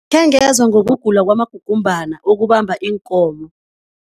Khengezwa ngokugula kwamagugumbana okubamba iiinkomo.